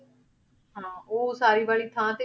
ਹਾਂ ਉਹ ਉਸਾਰੀ ਵਾਲੀ ਥਾਂ ਤੇ,